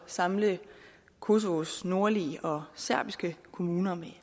samle kosovas nordlige og serbiske kommuner med